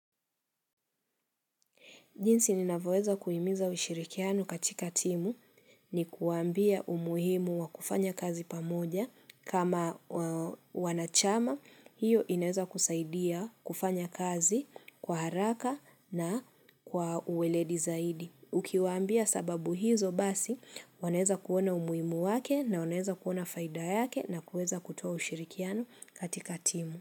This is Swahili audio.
Jinsi ninavyoweza kuimiza ushirikiano katika timu ni kuambia umuhimu wa kufanya kazi pamoja kama wanachama, hiyo inaweza kusaidia kufanya kazi kwa haraka na kwa uweledi zaidi. Ukiwambia sababu hizo basi, wanaweza kuona umuhimu wake na wanaweza kuona faida yake na kuweza kutua ushirikiano katika timu.